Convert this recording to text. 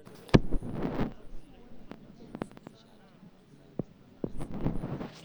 Naa keishaa nimiraki sokonini naata iropiyiani sidain too irnyanya.